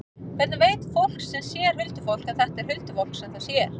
Hvernig veit fólk sem sér huldufólk að þetta er huldufólk sem það sér?